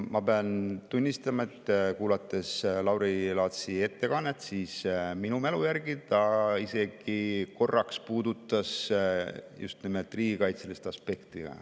Ma pean tunnistama, olles kuulanud Lauri Laatsi ettekannet, et minu mälu järgi ta isegi korraks puudutas just nimelt riigikaitselist aspekti.